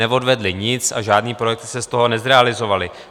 Neodvedly nic a žádné projekty se z toho nezrealizovaly.